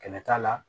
Kɛnɛ t'a la